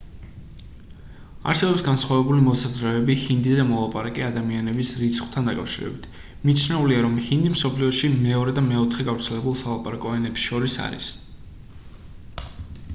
არსებობს განსხვავებული მოსაზრებები ჰინდიზე მოლაპარაკე ადამიანების რიცხვთან დაკავშირებით მიჩნეულია რომ ჰინდი მსოფლიოში მეორე და მეოთხე გავრცელებულ სალაპარაკო ენებს შორის არის